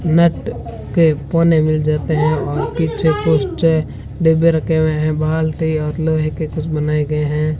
Net के पौने मिल जाते हैं और पीछे कुछ डिब्बे रखे हुए हैं बाल्टी और लोहे के कुछ बनाए गए हैं।